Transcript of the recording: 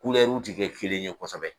Kulɛriw tɛ kɛ kelen ye kosɛbɛ.